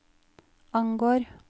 angår